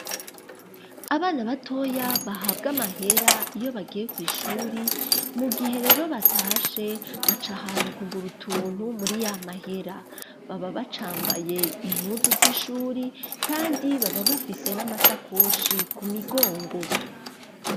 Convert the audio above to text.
Abana batoya bahabwa amahera iyo bagiye kw'ishuri mu gihe rero batashe baca ahantu kugura utuntu muri y'amahera baba bacambaye impuzu z'ishuri kandi baba bafise n'amasakoshi ku migongo